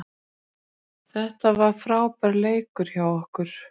Þetta var frábær leikur hjá okkur